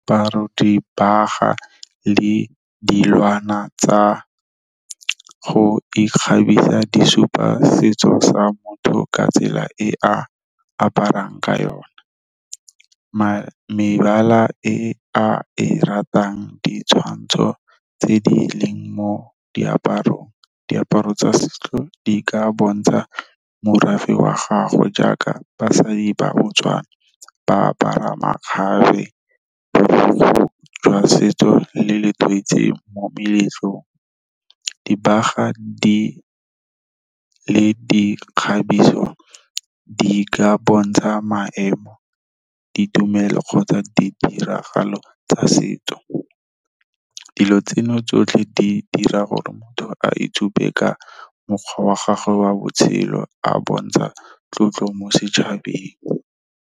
Dibaga le dilwana tsa go ikgabisa di supa setso sa motho ka tsela e a aparang ka yona. Mebala e a e ratang, ditshwantsho tse di leng mo diaparong, diaparo tsa setso di ka bontsha morafe wa gagwe jaaka basadi ba Botswana ba apara makgabe jwa setso le letoise mo meletlong. Dibaga di le dikgabiso di ka bontsha maemo, ditumelo kgotsa ditiragalo tsa setso. Dilo tseno tsotlhe di dira gore motho a itshupe ka mokgwa wa gagwe wa botshelo a bontsha tlotlo mo setšhabeng.